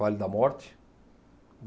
Vale da Morte.